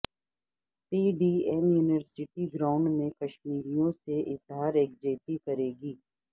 پی D M university ground میں کشمیر یوں سے اظہار یکجہتی کرے گی